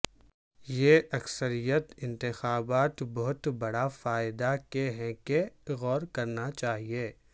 یہ اکثریت انتخابات بہت بڑا فائدہ کے ہیں کہ غور کرنا چاہیے